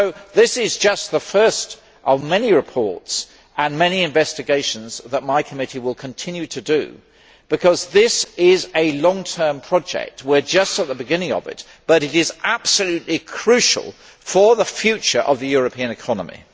This is just the first of many reports and many investigations that my committee will continue to make, because this is a long term project. We are just at the beginning of something absolutely crucial for the future of the European economy.